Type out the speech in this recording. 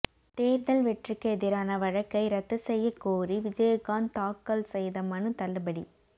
தேர்தல் வெற்றிக்கு எதிரான வழக்கை ரத்து செய்யக் கோரி விஜயகாந்த் தாக்கல் செய்த மனு தள்ளுபடி